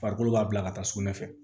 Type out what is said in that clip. Farikolo b'a bila ka taa sugunɛ fɛ